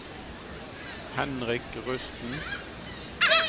Henrik Rusten